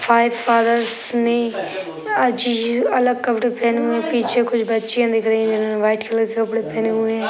Five fathers ने अजी अलग कपड़े पहने हुए है। पीछे कुछ बच्चियाँ दिख रही हैं जिन्होंने व्हाइट कलर के कपड़े पहने हुए हैं।